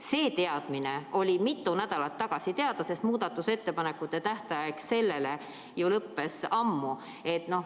See teadmine oli ka mitu nädalat tagasi olemas, sest muudatusettepanekute esitamise tähtaeg ju lõppes ammu.